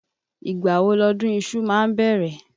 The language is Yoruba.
Ìgbà wo lọdún iṣu ma bẹ̀rẹ̀?